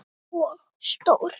Og stór.